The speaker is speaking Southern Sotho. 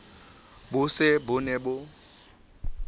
bo se bo ne bo